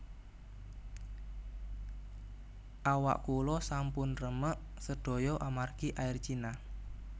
Awak kula sampun remek sedoyo amargi Air China